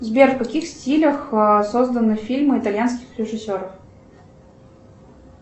сбер в каких стилях созданы фильмы итальянских режиссеров